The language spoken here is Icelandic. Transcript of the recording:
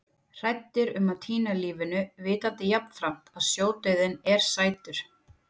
Hræddir um að týna lífinu, vitandi jafnframt að sjódauðinn er sætur.